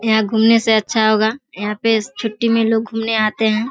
यहाँ घूमने से अच्छा होगा। यहाँ पे छुट्टी में लोग घूमने आते हैं।